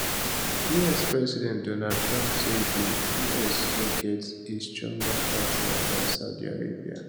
us president donald trump say di us no get a stronger partner dan saudi arabia